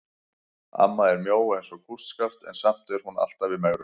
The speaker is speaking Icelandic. Amma er mjó eins og kústskaft en samt er hún alltaf í megrun.